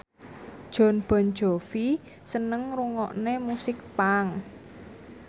Jon Bon Jovi seneng ngrungokne musik punk